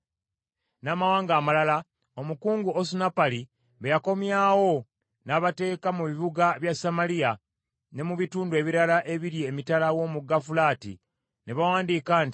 n’amawanga amalala, omukungu Osunappali be yakomyawo, n’abateeka mu bibuga bya Samaliya ne mu bitundu ebirala ebiri emitala w’omugga Fulaati ne bawandiika nti: